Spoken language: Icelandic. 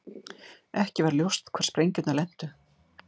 Ekki var ljóst hvar sprengjurnar lentu